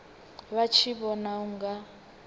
vha tshi vhona u nga